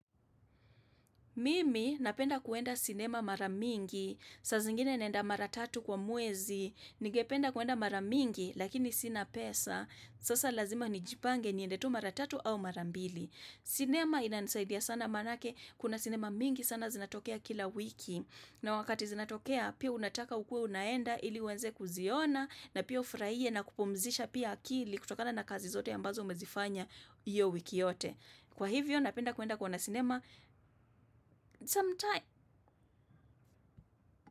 Mimi napenda kuenda sinema maramingi. Saa zingine naenda maratatu kwa mwezi. Ningependa kwenda mara mingi lakini sina pesa. Sasa lazima ni jipange niende tu mara tatu au mara mbili. Sinema ina nisaidia sana manake. Kuna sinema mingi sana zinatokea kila wiki. Na wakati zinatokea pia unataka ukuwe unaenda ili uanze kuziona na pia ufurahie na kupumzisha pia akili kutokana na kazi zote ya ambazo umezifanya hiyo wiki yote. Kwa hivyo napenda kuenda kuona sinema sometime.